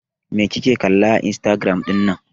Me kike kalla a Instagram ɗin nan?